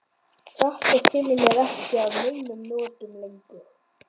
Þetta kemur mér ekki að neinum notum lengur.